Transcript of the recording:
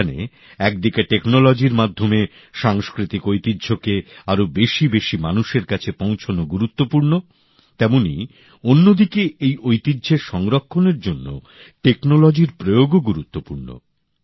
যেখানে একদিকে প্রযুক্তির মাধ্যমে সাংস্কৃতিক ঐতিহ্যকে আরও বেশিবেশি মানুষের কাছে পৌঁছনো গুরুত্বপূর্ণ তেমনি অন্যদিকে এই ঐতিহ্যের সংরক্ষণের জন্য প্রযুক্তির প্রয়োগও গুরুত্বপূর্ণ